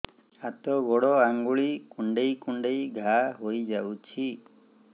ହାତ ଗୋଡ଼ ଆଂଗୁଳି କୁଂଡେଇ କୁଂଡେଇ ଘାଆ ହୋଇଯାଉଛି